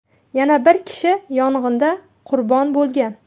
Yana bir kishi yong‘inda qurbon bo‘lgan.